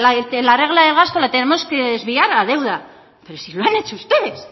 la regla de gasto la tenemos que desviar a deuda pero si lo han hecho ustedes